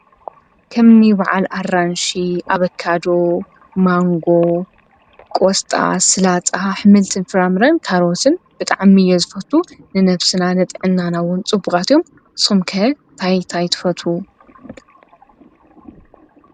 ከምኒ ባዓል ኣራንሺ፣ ኣቫካዶ፣ ማንጎ፣ ቆስጣ ፣ሰላጣ፣ ኣሕምልትን ፍራምረን ካሮትን ብጣዕሚ እየ ዝፈቱ። ንነብስና ንጥዕናና እውን ፅቡቃት እዮም። ንስኩም ከ እንታይ እንታይ ትፈትዉ?